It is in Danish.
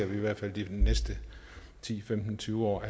vi i hvert fald de næsten ti femten tyve år